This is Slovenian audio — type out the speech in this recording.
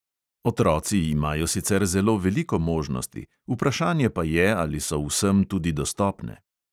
Otroci imajo sicer zelo veliko možnosti, vprašanje pa je, ali so vsem tudi dostopne.